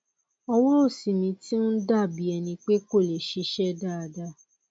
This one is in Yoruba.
ọwọ òsì mi ti ń dà bí ẹni pé kò lè ṣiṣẹ dáadáa